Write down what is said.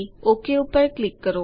okay પર click કરો